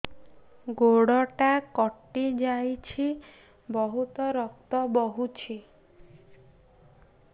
ଗୋଡ଼ଟା କଟି ଯାଇଛି ବହୁତ ରକ୍ତ ବହୁଛି